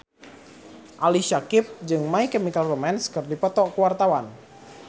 Ali Syakieb jeung My Chemical Romance keur dipoto ku wartawan